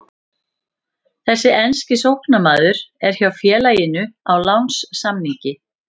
Þessi enski sóknarmaður er hjá félaginu á lánssamningi.